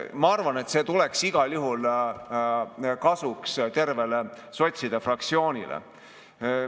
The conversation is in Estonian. Ma arvan, et see tuleks igal juhul kasuks tervele sotside fraktsioonile.